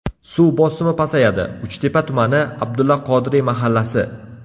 Suv bosimi pasayadi: Uchtepa tumani: Abdulla Qodiriy mahallasi.